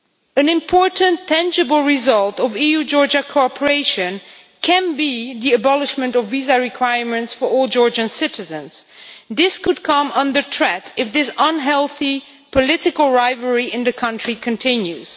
An important tangible result of EU Georgia cooperation might be the abolition of visa requirements for all Georgian citizens, but that could come under threat if the unhealthy political rivalry in the country continues.